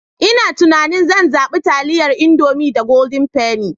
Ina tunanin zan zaɓa taliyan Indomie da Golden penny.